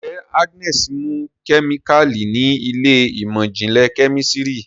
njé Agnes mú kemikali ní Ilé ìmọ̀n-jinlẹ Kẹ́mísìrì